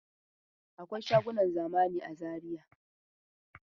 Akwai shagunan zamani a Zaiya.